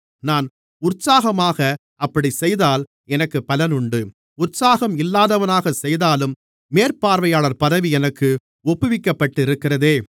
நான் உற்சாகமாக அப்படிச் செய்தால் எனக்குப் பலன் உண்டு உற்சாகம் இல்லாதவனாகச் செய்தாலும் மேற்பார்வையாளர் பதவி எனக்கு ஒப்புவிக்கப்பட்டிருக்கிறதே